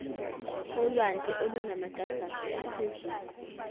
olwandle olunamagagasi aphezulu